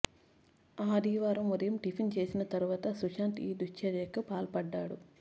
ఆదివారం ఉదయం టిఫిన్ చేసిన తరువాత సుశాంత్ ఈ దుశ్చర్యకు పాల్డడ్డాడు